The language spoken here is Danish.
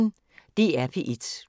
DR P1